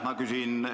Aitäh!